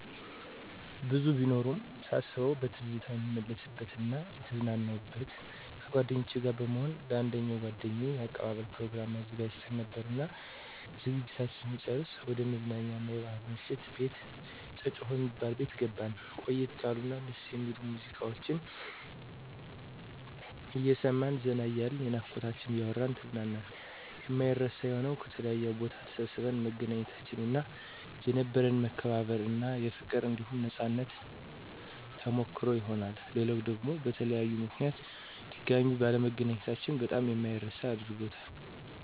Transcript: ብዙ ቢኖሩም ሳስበዉ በትዝታ የምመለስበት እና የተዝናናሁበት፦ ከጓደኞቸ ጋር በመሆን ለአንደኛዋ ጓደኛችን የአቀባበል ፕሮግራም አዘጋጅተን ነበርና ዝግጅታችን ስንጨርስ ወደ መዝናኛ አና የባሕል ምሽት ቤት ጨጨሆ የሚባል ቤት ገባን። ቆየት ያሉ እና ደስ የሚሉ ሙዚቃወችን አየሰማን ዘና እያልን የናፍቆታችንን እያወራን ተዝናናን። የማይረሳ የሆነዉ፦ ከተለያየ ቦታ ተሰባስበን መገናኘታችን እና የነበረን መከባበር እና ፋቅር አንዲሁም ነፃነት ተሞከሰሮ ይሆናል። ሌላዉ ደግሞ በተለያዩ ምከንያቶች ድጋሜ ባለመገናኘታችን በጣም የማይረሳ አድርጎታል።